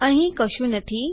અહીં કશું નથી